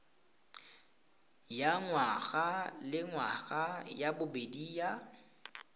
ya ngwagalengwaga ya bobedi ya